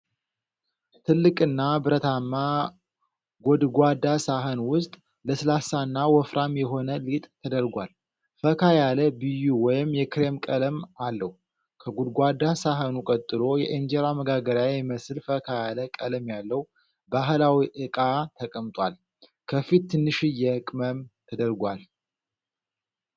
ትልቅና ብረታማ ጎድጓዳ ሳህን ውስጥ፣ ለስላሳና ወፍራም የሆነ ሊጥ ተደርጓል። ፈካ ያለ ቢዩ ወይም የክሬም ቀለም አለው። ከጎድጓዳ ሳህኑ ቀጥሎ የእንጀራ መጋገሪያ የሚመስል፣ ፈካ ያለ ቀለም ያለው ባህላዊ ዕቃ ተቀምጧል። ከፊት ትንሽዬ ቅመም ተደርጓል።